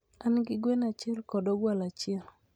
An gi gwen achiel kod ogwal achiel.